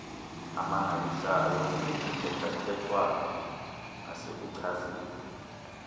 amangalisayo kuthethathethwano nasekuchazeni